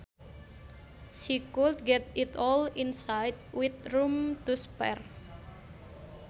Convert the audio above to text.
She could get it all inside with room to spare